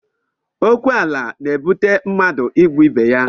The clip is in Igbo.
Okwu ala na-ebute mmadụ ịgbụ ibe ya